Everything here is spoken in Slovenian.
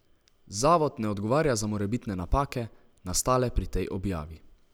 Zavod ne odgovarja za morebitne napake, nastale pri tej objavi.